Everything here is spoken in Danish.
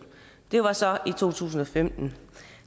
det var så i to tusind og femten